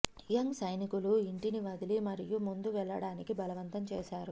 young సైనికులు ఇంటిని వదిలి మరియు ముందు వెళ్ళడానికి బలవంతం చేశారు